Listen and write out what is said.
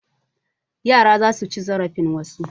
Yara za su ci zarafin wasu.